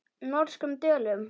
Norskum döllum.